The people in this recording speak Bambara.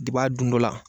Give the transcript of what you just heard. Depi a dun dɔ la